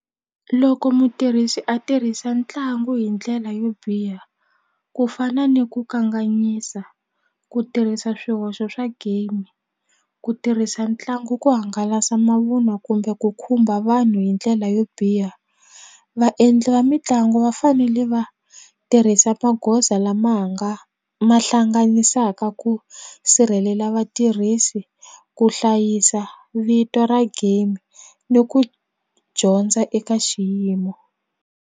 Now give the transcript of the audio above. Loko mutirhisi a tirhisa ntlangu hi ndlela yo biha ku fana ni ku kanganyisa ku tirhisa swihoxo swa game ku tirhisa ntlangu ku hangalasa mavunwa kumbe ku khumba vanhu hi ndlela yo biha vaendli va mitlangu va fanele va tirhisa magoza lama ha nga ma hlanganisaka ku sirhelela vatirhisi ku hlayisa vito ra game ni ku dyondza eka xiyimo.